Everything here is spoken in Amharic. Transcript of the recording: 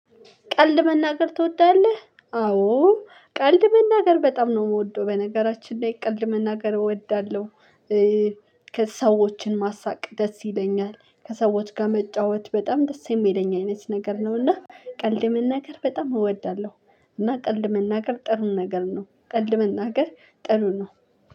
ቀልድ መናገር ትወዳለህ? አዎ። ቀልድ መናገር በጣም ነው የምወደው በነገራችን ላይ ቀልድ መናገር እወዳለሁ። ከሰዎችን ማሳቅ ደስ ይለኛል ከሰዎች ጋር መጫወት በጣም ደስ የሚለኝ አይነት ነገር ነውና ቀልድ መናገር በጣም እወዳለሁ። እና ቀልድ መናገር ጥሩ ነገር ነው። ቀልድ መናገር ጥሩ ነው።